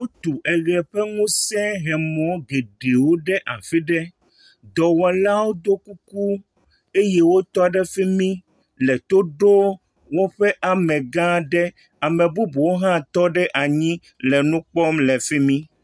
Wotu eʋe ƒe ŋusẽhemɔ geɖewo ɖe afi ɖe. Dɔwɔlawo do kuku eye wotɔ ɖe fi mi le to ɖoo woƒe amegã aɖe. Ame bubuwo hã tɔ ɖe anyi l nu kpɔ le fi mi.